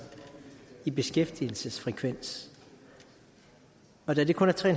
i beskæftigelsesfrekvens og da det kun er tre